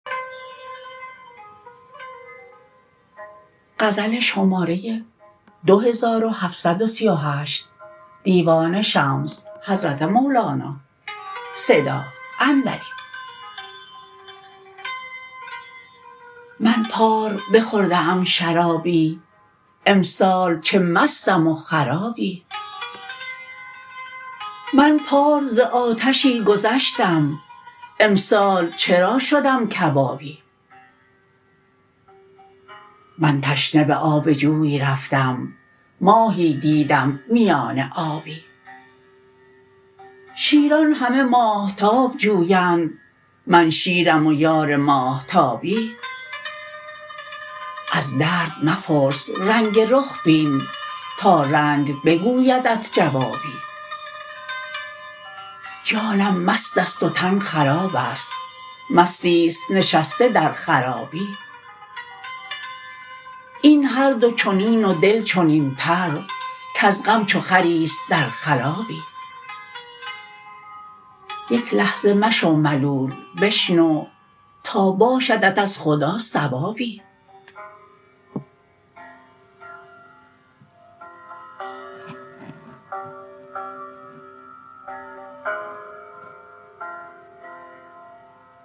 من پار بخورده ام شرابی امسال چه مستم و خرابی من پار ز آتشی گذشتم امسال چرا شدم کبابی من تشنه به آب جوی رفتم ماهی دیدم میان آبی شیران همه ماهتاب جویند من شیرم و یار ماهتابی از درد مپرس رنگ رخ بین تا رنگ بگویدت جوابی جانم مست است و تن خراب است مستی است نشسته در خرابی این هر دو چنین و دل چنینتر کز غم چو خری است در خلابی یک لحظه مشو ملول بشنو تا باشدت از خدا ثوابی